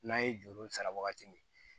N'a ye juru sara wagati min